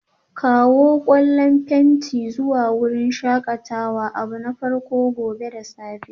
Kawo ƙwallan fenti zuwa wurin shakatawa abu na farko gobe da safe